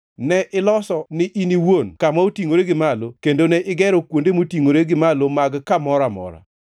ne iloso ni in iwuon kama otingʼore gi malo kendo ne igero kuonde motingʼore gi malo mag kamoro amora.